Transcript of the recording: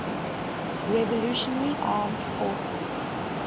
revolutionary armed forces